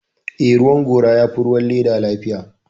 Eh, ruwan gora ya fi ruwan leda lafiya